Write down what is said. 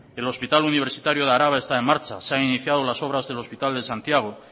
el hospital universitario de álava está en marcha se han iniciado las obras del hospital de santiago